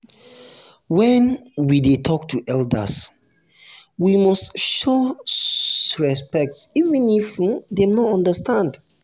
when um we dey talk to elders we must show um respect even if um dem no understand.